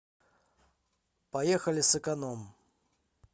поехали сэконом